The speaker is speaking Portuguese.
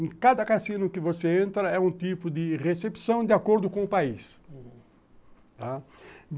Em cada cassino que você entra, é um tipo de recepção de acordo com o país.